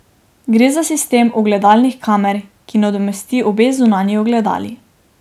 Gre za sistem ogledalnih kamer, ki nadomesti obe zunanji ogledali.